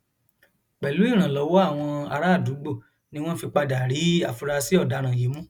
pẹlú ìrànlọwọ àwọn àràádúgbò ni wọn fi padà rí àfúrásì ọdaràn yìí mú